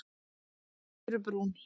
Furubrún